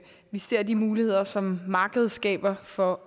vi ser de muligheder som markedet skaber for